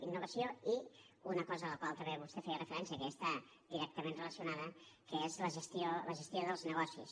innovació i una cosa a la qual també vostè feia referència que hi està directament relacionada que és la gestió dels negocis